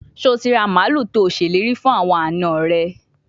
Se o ti ra malu to seleri fun awon ana re?